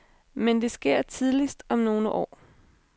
Men det sker tidligst om nogle år.